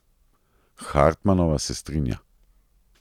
Hartmanova se strinja.